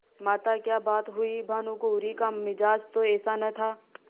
माताक्या बात हुई भानुकुँवरि का मिजाज तो ऐसा न था